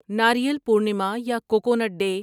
ناریل پورنیما یا coconut day